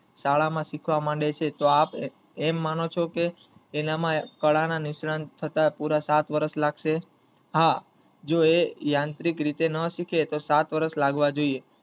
શાળા માં શીખવા માંડે છે તો આપ એમ માનોછો કે તેના માં કળા ના નિષ્ણાત થતા પુરા સાત વર્ષ લાગશે હા જો એ~એ યાંત્રિક રીતે ન શીખે તો સાત વર્ષ લાગવા જોયે